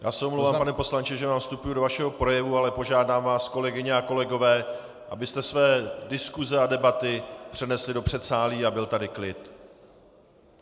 Já se omlouvám, pane poslanče, že vám vstupuji do vašeho projevu, ale požádám vás, kolegyně a kolegové, abyste své diskuse a debaty přenesli do předsálí a byl tady klid.